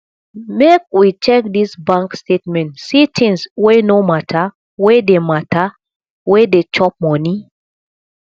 make we check dis bank statement see tins wey no mata wey dey mata wey dey chop moni